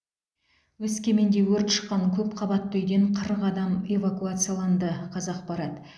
өскеменде өрт шыққан көпқабатты үйден қырық адам эвакуацияланды қазақпарат